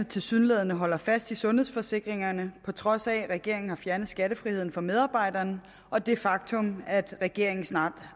tilsyneladende holder fast i sundhedsforsikringerne på trods af at regeringen har fjernet skattefriheden for medarbejderne og det faktum at regeringen snart